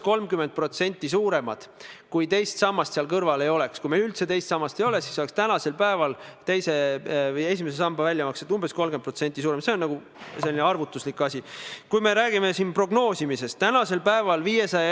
Nimelt, teised erandid: üks on see, mis kehtestab kohustuse 21 000 euro suuruseks ettemakseks, mille raudteeveo ettevõtja peaks reisija surma korral tema lähedastele maksma, ja teine on see, et kui rongid hilinevad, siis peaks Elron kandma hoolt nende reisijate eest, kes jäävad jätkureisist maha.